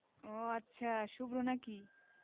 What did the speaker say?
ও আচ্ছা শুভ্র নাকি?